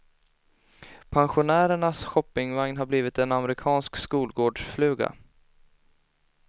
Pensionärernas shoppingvagn har blivit en amerikansk skolgårdsfluga.